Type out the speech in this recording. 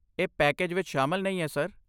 ਇਹ ਪੈਕੇਜ ਵਿੱਚ ਸ਼ਾਮਲ ਨਹੀਂ ਹੈ, ਸਰ।